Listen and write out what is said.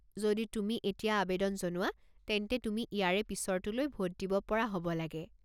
যদি তুমি এতিয়া আৱেদন জনোৱা তেন্তে তুমি ইয়াৰে পিছৰটোলৈ ভোট দিব পৰা হ'ব লাগে।